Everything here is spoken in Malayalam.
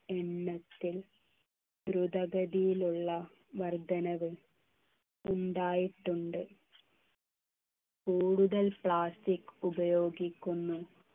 എണ്ണത്തിൽ ദ്രുതഗതിയിലുള്ള വർദ്ധനവ് ഉണ്ടായിട്ടുണ്ട് കൂടുതൽ plastic ഉപയോഗിക്കുന്നു